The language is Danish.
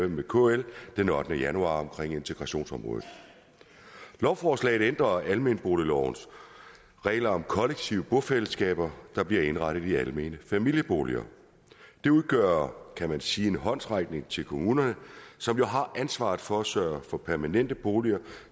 med kl den ottende januar om integrationsområdet lovforslaget ændrer almenboliglovens regler om kollektive bofællesskaber der bliver indrettet i almene familieboliger det udgør kan man sige en håndsrækning til kommunerne som jo har ansvaret for at sørge for permanente boliger